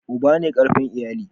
Uba ne karfin iyali.